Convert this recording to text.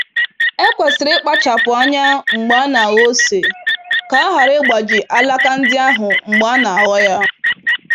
E kwesịrị ikpachapụ anya mgbe anaghọ ose ka a ghara ịgbaji alaka ndị ahụ mgbe a n'aghọ ya.